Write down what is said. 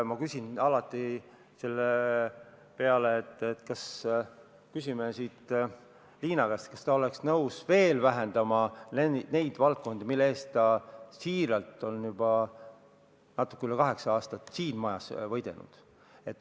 Ma küsin alati sellisel puhul, et kas küsime Liina käest, kas ta oleks nõus veel vähendama nende valdkondade raha, mille eest ta siiralt on juba natuke üle kaheksa aasta siin majas võidelnud.